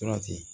Tora ten